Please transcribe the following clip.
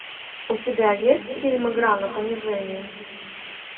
у тебя есть фильм игра на понижение